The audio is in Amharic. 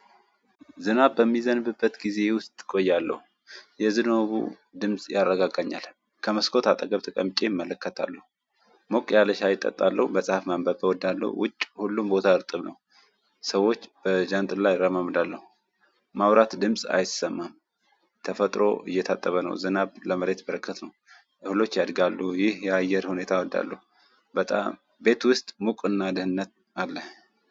ዝናብ በሚዘንብበት ጊዜ ውስጥ እቆያለሁ። የዝናቡ ድምጽ ያረጋጋኛል ከመስኮት አጠገብ ተቀምጬ እመለከታለሁ። ሞቅ ያለ ሻይ እጠጣለሁ መጽሐፍ ማንበብ እወዳለሁ። ውጭ ሁሉም ቦታ እርጥም ነው። ሰዎች በጃንጥል ላይ ይራመዳሉ። ማውራት ድምጽ አይሰማም። ተፈጥሮ እየታጠበ ነው። ዝናብ ለመሬት በረከት ነው። እህሎች ያድጋሉ ይህ የአየር ሁኔታ ወልዳሉ። በጣም ቤት ውስጥ ሙቅና ድህነት አለ።